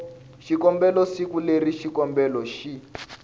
xikombelo siku leri xikombelo xi